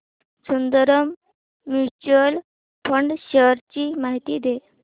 Sundaram mutual fund shares ची माहिती दे